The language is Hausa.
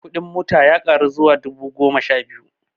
Kudin motan ya ƙaru zuwa dubu goma sha biyu